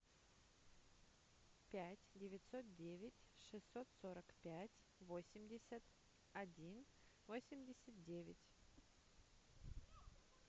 пять девятьсот девять шестьсот сорок пять восемьдесят один восемьдесят девять